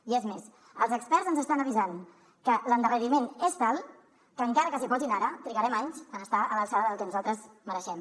i és més els experts ens avisen que l’endarreriment és tal que encara que s’hi posin ara trigarem anys a estar a l’alçada del que nosaltres mereixem